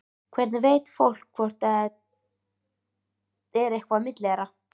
Hvernig veit fólk hvort það er eitthvað á milli þeirra?